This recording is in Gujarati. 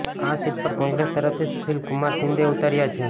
આ સીટ પર કોંગ્રેસ તરફતી સુશીલકુમાર શિંદે ઉતર્યા છે